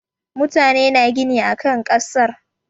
Mutane na gina akan kasar.